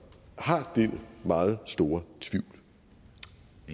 har den meget store tvivl